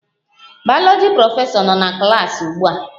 Bayoloji prọfesọ no na klas ugbua